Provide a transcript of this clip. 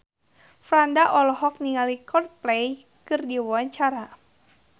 Franda olohok ningali Coldplay keur diwawancara